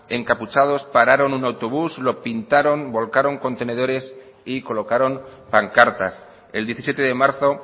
encapuchados pararon un autobús lo pintaron volcaron contenedores y colocaron pancartas el diecisiete de marzo